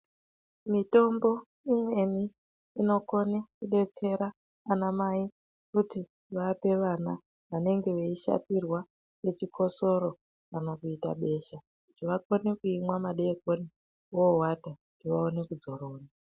Mitombo imweni inokone kudetsera ana mai kuti vape vana vanenge vaeishatirwa ngechikhosoro kana kuita besha kuti vaone kumwa madeikoni vovata kuti vaone kudzorora.